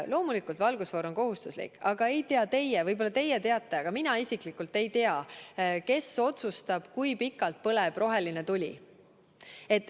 Loomulikult, valgusfoor on kohustuslik, aga ei tea teie – võib-olla teie teate, aga mina isiklikult ei tea –, kes otsustab, kui pikalt põleb roheline tuli.